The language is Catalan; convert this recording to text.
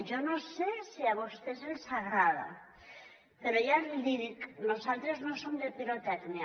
jo no sé si a vostès els agrada però ja li dic nosaltres no som de pirotècnia